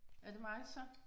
Er det mig så?